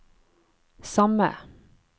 samme